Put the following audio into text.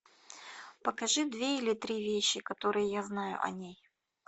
покажи две или три вещи которые я знаю о ней